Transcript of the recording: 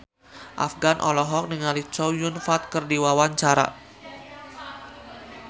Afgan olohok ningali Chow Yun Fat keur diwawancara